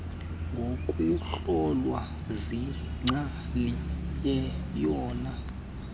ngokuhlolwa ziingcali yiyona